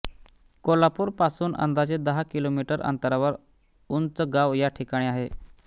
कोल्हापुर पासून अंदाजे दहा किलोमीटर अंतरावर उंचगाव या ठिकाणी आहे